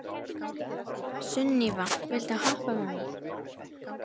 Sunníva, viltu hoppa með mér?